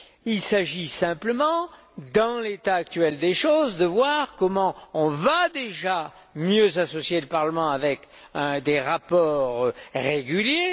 Il s'agit simplement, dans l'état actuel des choses, de voir comment on va déjà mieux associer le Parlement, avec des rapports réguliers.